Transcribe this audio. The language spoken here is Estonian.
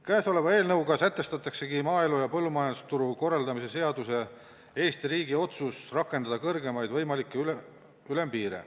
Käesoleva eelnõuga sätestataksegi maaelu ja põllumajandusturu korraldamise seaduses Eesti riigi otsus rakendada kõrgemaid võimalikke ülempiire.